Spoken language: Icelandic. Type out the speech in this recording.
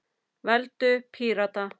Veldu Pírata.